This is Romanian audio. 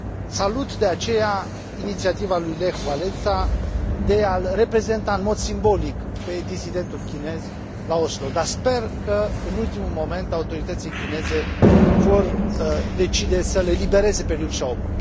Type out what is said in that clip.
Salut, de aceea, inițiativa lui Lech Walesa de a l reprezenta în mod simbolic pe dizidentul chinez la Oslo, dar sper că în ultimul moment autoritățile chineze vor decide să l elibereze pe Liu Xiaobo